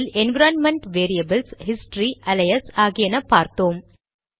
இதில் environment variables history alias ஆகியன பார்த்தோம்